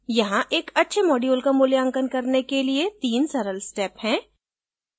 यहाँ एक अच्छे module का मूल्यांकन करने के लिए 3 सरल step हैं